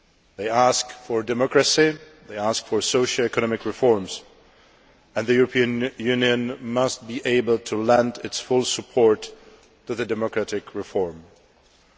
They ask for democracy, they ask for socio economic reforms, and the European Union must be able to lend its full support to the democratic reform process.